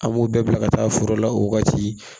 An b'o bɛɛ bila ka taa foro la o wagati